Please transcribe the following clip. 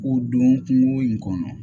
K'o don kungo in kɔnɔ